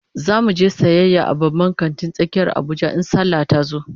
Zamu je sayayya a babban kantin tsakiyar Abuja in sallah tazo